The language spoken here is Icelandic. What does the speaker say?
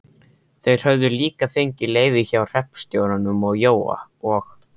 Þeir höfðu líka fengið leyfi hjá hreppstjóranum og Jói og